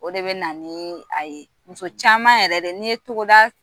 O de bɛ na ni a ye, muso caman yɛrɛ de, ni ye togoda